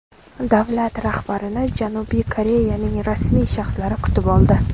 Davlat rahbarini Janubiy Koreyaning rasmiy shaxslari kutib oldi.